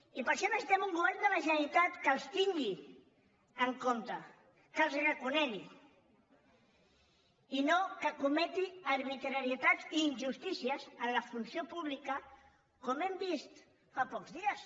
i per això necessitem un govern de la generalitat que els tingui en compte que els reco·negui i no que cometi arbitrarietats i injustícies en la funció pública com hem vist fa pocs dies